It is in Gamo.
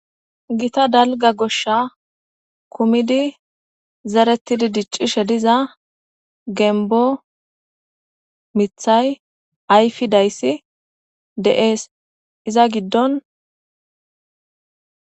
gita dalga goshsha kumidi zaretidi diccishe diza gembo mithay ayfi dayssi de7ees iza giddon